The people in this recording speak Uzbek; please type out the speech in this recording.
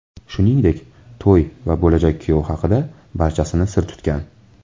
Shuningdek, to‘y va bo‘lajak kuyov haqida barchasini sir tutgan.